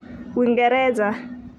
Wingereza.